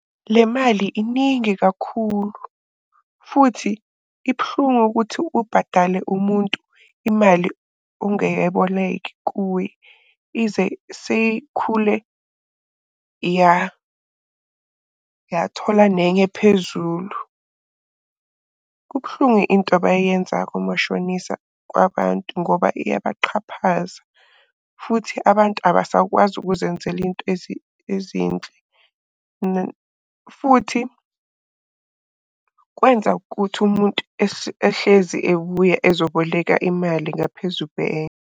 Le mali iningi kakhulu, futhi ibuhlungu ukuthi ubhadale umuntu imali ongeyeboleke kuye ize seyikhule yathola nenye phezulu. Kubuhlungu into abayenzako omashonisa kwabantu ngoba iyabaxhaphaza futhi abantu abasakwazi ukuzenzela into ezinhle . Futhi kwenza ukuthi umuntu ehlezi ebuya ezoboleka imali ngaphezu .